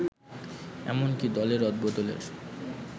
এমনকি দলে রদবদলের